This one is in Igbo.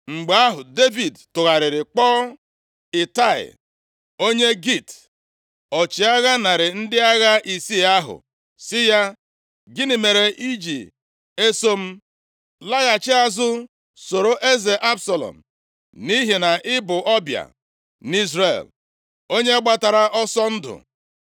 Mgbe ahụ, Devid tụgharịrị kpọọ Itai, onye Git, ọchịagha narị ndị agha isii ahụ sị ya, “Gịnị mere i ji eso m? Laghachi azụ soro eze Absalọm, nʼihi na ị bụ ọbịa nʼIzrel, onye gbatara ọsọ ndụ.